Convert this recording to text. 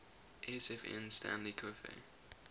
sfn stanley coffey